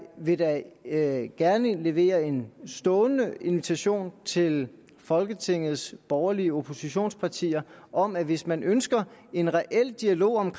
vil da da gerne levere en stående invitation til folketingets borgerlige oppositionspartier om at hvis man ønsker en reel dialog om